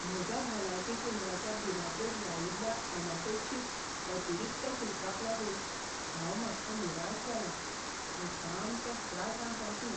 म्हज्या भलायकी केंद्राच्या बिलाचेर लायिल्ल्या अनपेक्षीत अतिरिक्त शुल्काक लागून हांव मातसो निराश जालां, हें सामकें त्रासांत घालपी.